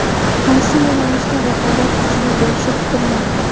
Qaysi yo‘nalishda raqobat kuchli bo‘lishi kutilmoqda?